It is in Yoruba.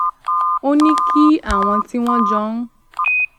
ó ní kí àwọn tí wón jọ ń